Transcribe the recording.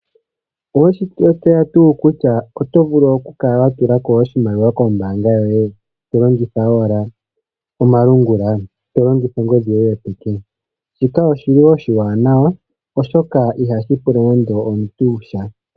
Owe shi tseya tuu kutya oto vulu oku kala wa tula ko oshimaliwa kombaanga yoye, to longitha owala omalungula, to longitha ongodhi yoye yopeke? Shika oshi li oshiwanawa, oshoka iha shi pula nande omuntu sha.